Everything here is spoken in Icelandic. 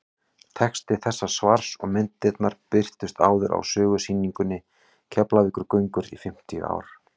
texti þessa svars og myndirnar birtust áður á sögusýningunni keflavíkurgöngur í fimmtíu ár